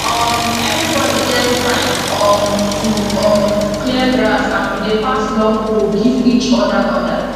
um everybody get time um to um clear grass and we dey pass long hoe give each other other